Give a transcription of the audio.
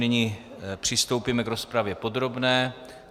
Nyní přistoupíme k rozpravě podrobné.